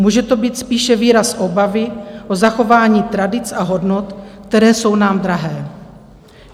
Může to být spíše výraz obavy o zachování tradic a hodnot, které jsou nám drahé.